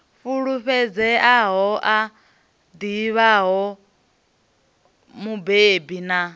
fulufhedzeaho a ḓivhaho mubebi a